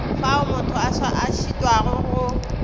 fao motho a šitwago go